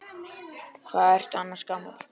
Hvað ertu annars gamall?